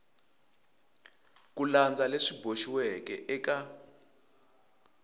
ku landza leswi boxiweke eka